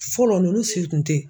Fɔlɔ nunnu si tun tɛ.